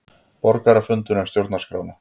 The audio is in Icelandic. Borgarafundur um stjórnarskrána